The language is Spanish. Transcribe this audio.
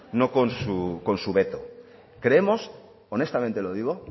no con su veto creemos honestamente lo digo